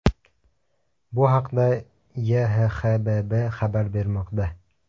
Bu haqda YHXBB xabar bermoqda.